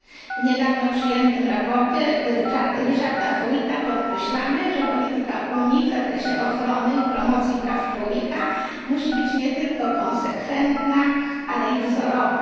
W niedawno przyjętym sprawozdaniu Richarda Howitta podkreślamy, że polityka Unii w zakresie ochrony i promocji praw człowieka musi być nie tylko konsekwentna, ale i wzorowa.